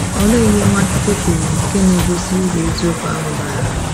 Olee ihe Nwachukwu kwuru nke na - egosi uru eziokwu ahụ bara?